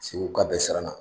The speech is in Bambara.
Segu ka bɛ siranna